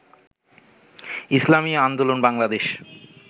Islami Andolan Bangladesh